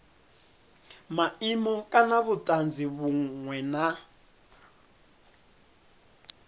maimo kana vhutanzi vhunwe na